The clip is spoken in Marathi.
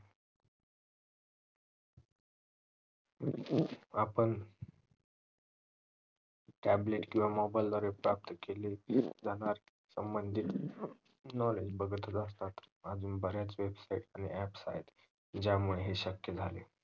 आपण tablet किवा mobile द्वारे केले जाणार संबधी knowledge बघतच असतं अजून बर्‍याच websites आणि apps आहेत ज्यामुळे हे शक्य झाले